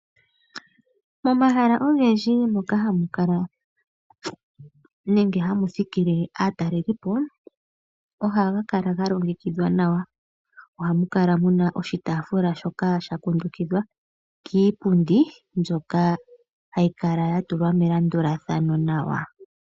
Momahala ogendji moka hamukala nenge hamu thikile aatalelipo . Ohaga kala ga longekidhwa nawa. Ohamu kala muna oshitaafula shoka sha kundukidhwa kiipundi mbyoka hayi kala ya tulwa melandulathano nawa.